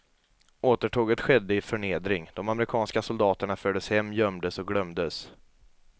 Återtåget skedde i förnedring, de amerikanska soldaterna fördes hem, gömdes och glömdes.